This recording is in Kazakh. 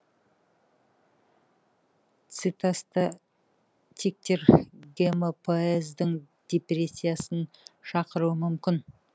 цитостатиктер гемопоэздің депрессиясын шақыруы мүмкін